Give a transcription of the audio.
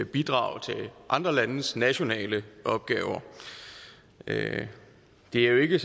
bidrage til andre landes nationale opgaver det er jo ikke